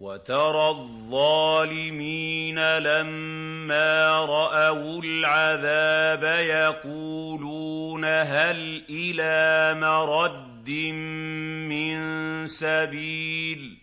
وَتَرَى الظَّالِمِينَ لَمَّا رَأَوُا الْعَذَابَ يَقُولُونَ هَلْ إِلَىٰ مَرَدٍّ مِّن سَبِيلٍ